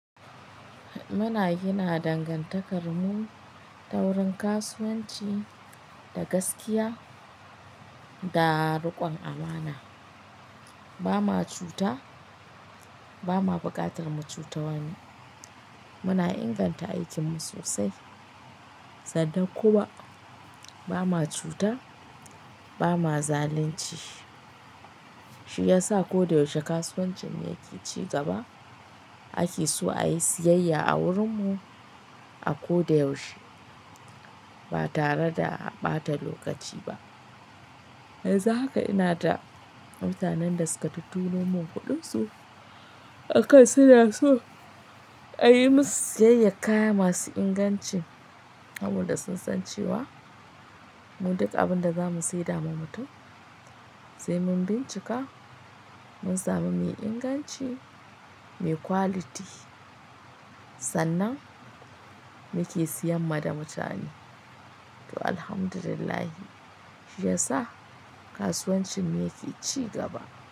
Muna gina dangantakarmu ta wurin kasuwanci da gaskiya da rikon amana. Ba ma cuta, ba ma buƙatar mu cuci wani. Muna inganta aikinmu sosai sannan kuma ba ma cuta, ba ma zalunci. Shi ya sa ko da yaushe kasuwancin mu yake ci gaba. A ke so a yi siyayya a wurin mu a ko da yaushe ba tare da a ɓata lokaci ba. Yanzu haka ina da mutanen da suka tutturo mun kuɗin su, aka suna so a yi musu siyayyar kaya masu inganci. Kamar da sun san cewa mu duka abin da zamu saida ma mutum, sai mun bincika mun samu mai inganci, me quality sannan muke siyan ma da mutane. To Alhamdulillah shi ya sa kasuwancin mu yake ci gaba.